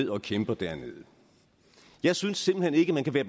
og kæmper dernede jeg synes simpelt hen ikke man kan være